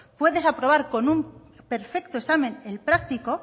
puedes aprobar con un perfecto examen el práctico